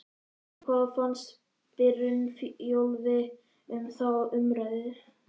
En hvað finnst Brynjólfi um þá umræðu?